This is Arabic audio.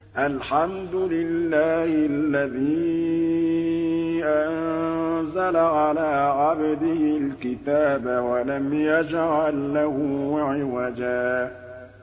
الْحَمْدُ لِلَّهِ الَّذِي أَنزَلَ عَلَىٰ عَبْدِهِ الْكِتَابَ وَلَمْ يَجْعَل لَّهُ عِوَجًا ۜ